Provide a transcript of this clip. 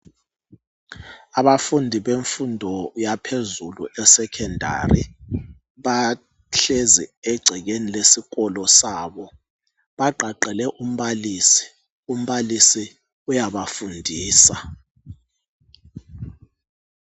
Abafundi bemfundo yaphezulu eSekhondari bahlezi egcekeni lesikolo sabo bagqagqele umbalisi. Umbalisi uyabafundisa .